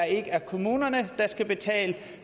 ikke er kommunerne der skal betale